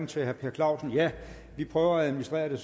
til herre per clausen vi prøver at administrere det